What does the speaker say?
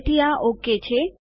તેથી આ ઓકે છે